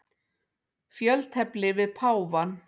Fjöltefli við páfann.